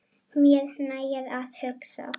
Mér nægir að hugsa.